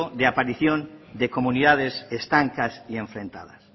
de aparición de comunidades estancas y enfrentadas